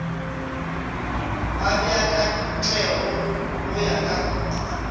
a beakantšwego go ya ka